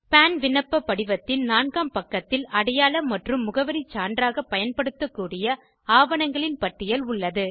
பான் விண்ணப்ப படிவத்தின் 4 ஆம் பக்கத்தில் அடையாள மற்றும் முகவரி சான்றாக பயன்படக்கூடய ஆவணங்களின் பட்டியல் உள்ளது